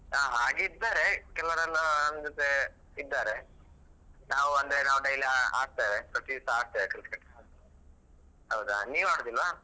ಹ ಹಾಗೆ ಇದ್ದಾರೆ ಕೆಲವರೆಲ್ಲ ನಮ್ಮ ಜೊತೆ ಇದ್ದಾರೆ ನಾವ್ ಅಂದ್ರೆ ನಾವ್ daily ಆ~ ಆಡ್ತೇವೆ ಪ್ರತಿ ದಿವ್ಸ ಆಡ್ತೇವೆ cricket ಹೌದಾ ನೀವ್ ಆಡುದಿಲ್ವ?